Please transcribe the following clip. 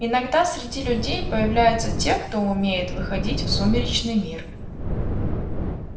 иногда среди людей появляются те кто умеет выходить в сумеречный мир